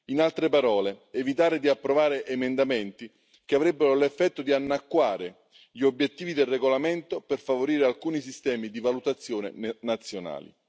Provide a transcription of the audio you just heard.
In altre parole, evitare di approvare emendamenti che avrebbero l'effetto di annacquare gli obiettivi del regolamento per favorire alcuni sistemi di valutazione nazionali.